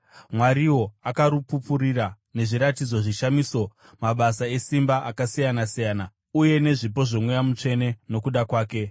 Mwariwo akarupupurira nezviratidzo, zvishamiso, mabasa esimba akasiyana-siyana, uye nezvipo zvoMweya Mutsvene nokuda kwake.